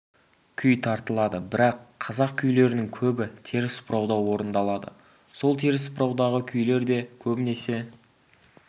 күй тартылады бірақ қазақ күйлерінің көбі теріс бұрауда орындалады сол теріс бұраудағы күйлер де көбінесе